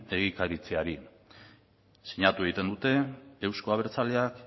egikaritzeari sinatu egiten dute euzko abertzaleak